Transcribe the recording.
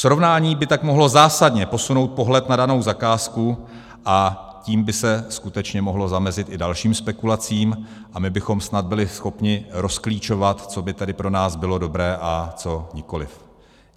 Srovnání by tak mohlo zásadně posunout pohled na danou zakázku, a tím by se skutečně mohlo zamezit i dalším spekulacím a my bychom snad byli schopni rozklíčovat, co by tedy pro nás bylo dobré, a co nikoliv.